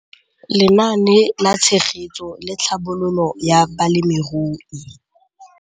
Lenaane la Tshegetso le Tlhabololo ya Balemirui.